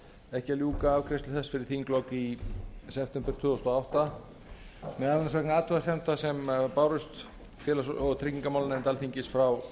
ekki að ljúka afgreiðslu þess fyrir þinglok í september tvö þúsund og átta meðal annars vegna athugasemda sem bárust félags og tryggingamálanefnd alþingis frá